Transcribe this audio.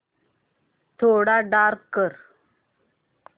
थोडा डार्क कर